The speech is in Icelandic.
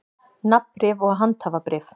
Nafnbréf og handhafabréf.